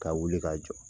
Ka wuli ka jɔ